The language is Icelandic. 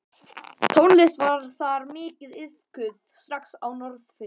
Tónlist var þar mikið iðkuð strax á Norðfirði.